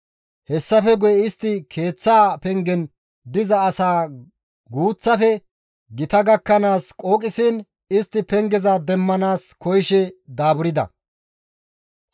Hessafe guye istti keeththaa pengen diza asaa guuththafe gita gakkanaas qooqisiin istti pengeza demmanaas koyishe daaburda.